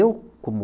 Eu, como